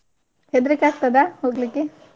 ಹೆದ್ರಿಕೆ ಆಗ್ತದಾ ಹೋಗ್ಲಿಕ್ಕೆ?